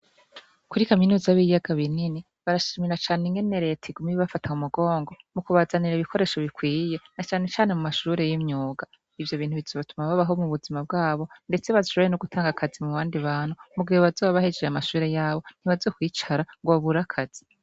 Kuri kaminuza y'ibiyaga binini, barashimira cane ingene leta iguma ibafafata mumugongo mu kubazanira ibikoresho bikwiye na cane cane mu mashure y'imyuga, ivyo bintu bizotuma babaho mu buzima bwabo ndetse bashobore no gutanga akazi mu bandi bantu mu gihe bazoba bahejeje amashure yabo ntibazokwicara ngo babure akazi.